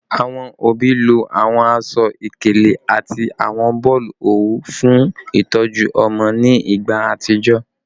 Awọn obi lo awọn aṣọ-ikele ati awọn boolu owu fun itọju ọmọ ni igba atijọ